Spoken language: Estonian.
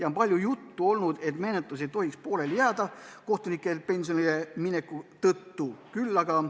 On ju palju olnud juttu, et menetlus ei tohiks kohtuniku pensionile mineku tõttu pooleli jääda.